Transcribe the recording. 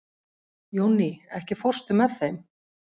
Jónný, ekki fórstu með þeim?